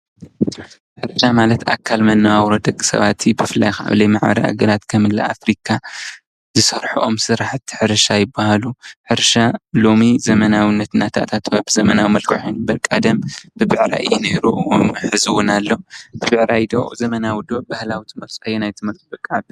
ሕርሻ ማለት ኣካል መናዋ ኣውሮ ደቕ ሰባ እቲ ብፍላይኻብለይ መዕበሪ ኣገራት ከምለ ኣፍሪካ ዝሠርሑ ኦም ሥራሕት ሕርሻ ኣይብሃሉ ሕርሻ ሎሚ ዘመናዊነት ናታታትወብ ዘመናዊ መልክሒኑ በርቃደም ብብዕራይ ኢ ነይይሩ ውኑ ሕዝዉን ኣለ ብብዕራይ ዶ ዘመናዊዶ ብህላውቶ መፁ ኣየናይት ትመርፁ ደቂ ዓብይቲ?